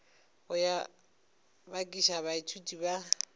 go yo bakiša baithuti ba